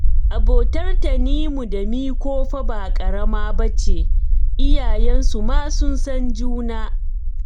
Abotar Tanimu da Miko fa ba ƙarama ba ce, iyayensu ma sun san juna